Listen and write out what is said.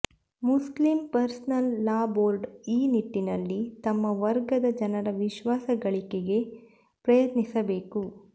Muslim personal law board ಈ ನಿಟ್ಟಿನಲ್ಲಿ ತಮ್ಮ ವರ್ಗದ ಜನರ ವಿಶ್ವಾಸ ಗಳಿಕೆಗೆ ಪ್ರಯತ್ನಿಸಬೇಕು